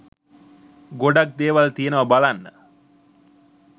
ගොඩක් දේවල් තියනවා බලන්න